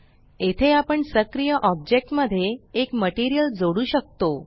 येथे आपण सक्रिय ऑब्जेक्ट मध्ये एक मटेरियल जोडू शकतो